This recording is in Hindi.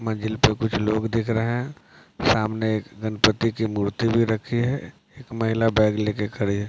मंदिर पे कुछ लोग दिख रहे हैं सामने एक गणपति की मूर्ति भी रखी है महिला बैग ले के खड़ी है ।